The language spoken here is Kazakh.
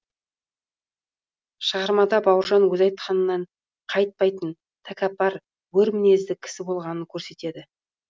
шығармада бауыржан өзі айтқанынан қайтпайтын тәкаппар өр мінезді кісі болғанынын көрсетеді